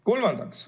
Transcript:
Kolmandaks.